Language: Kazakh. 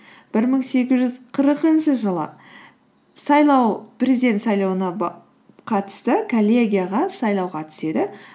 бір мың сегіз жүз қырықыншы жылы президент сайлауына қатысты коллегияға сайлауға түседі